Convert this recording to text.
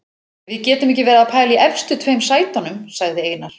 Við getum ekki verið að pæla í efstu tveim sætunum, sagði Einar.